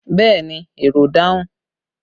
Yes, the passenger answered